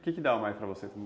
O que que dava mais para você?